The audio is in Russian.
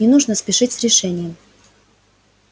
не нужно спешить с решением